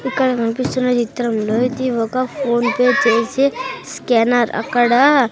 ఇక్కడ కనిపిస్తున్న చిత్రంలో ఇది ఒక ఫోన్ పే చేసే స్కానర్ అక్కడ --